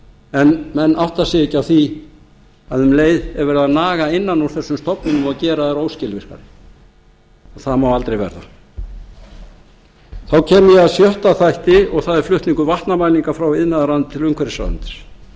en menn átta sig ekki á því að um leið er verið að naga innan úr þessum stofnunum og gera þær óskilvirkar það má aldrei verða þá kem ég að sjötta þætti og það er flutningur vatnamælinga frá iðnaðarráðuneyti til umhverfisráðuneytis